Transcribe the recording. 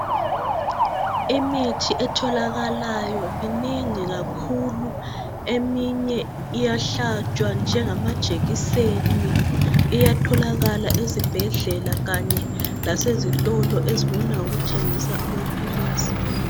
Imithi etholakalayo minengi kakhulu eminye iyahlatshwa njengamajekiseni iyatholakala ezibhedlela kanye lasezitolo ezibona ngokuthengisa amaphilisi.